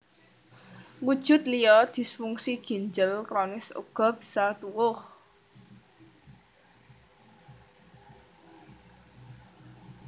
Wujud liya disfungsi ginjel kronis uga bisa tuwuh